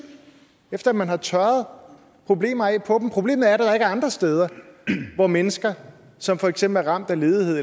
efter man har tørret problemer af på dem problemet er at der ikke er andre steder hvor mennesker som for eksempel er ramt af ledighed